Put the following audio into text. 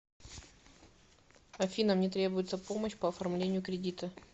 афина мне требуется помощь по оформлению кредита